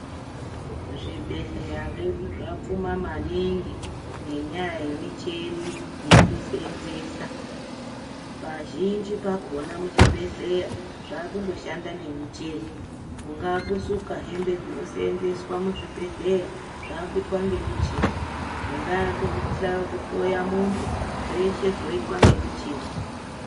Zvibhedhleya zvedu zvapfuma maningi ngenyaya yemuchini yekuseenzesa, pazhinji pakona muchibhedhedhleya zvakushanda ngemuchini, kungaa kusuka hembe dzinoseenzeswa muchibhedhleya, zvakuitwa ngemuchini , kungaa kuhloya muntu zveshe zvoitwa ngemichini.